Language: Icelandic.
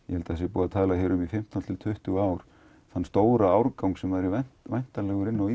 ég held það sé búið að tala um í fimmtán til tuttugu ár þann stóra árgang sem er væntanlegur inn á